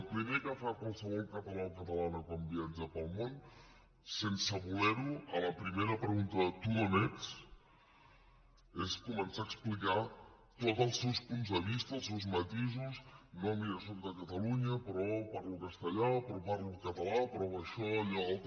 el primer que fa qualsevol català o catalana quan viatja pel món sense voler ho a la primera pregunta de tu d’on ets és començar a explicar tots els seus punts de vista els seus matisos no mira sóc de catalunya però parlo castellà però parlo català això allò altre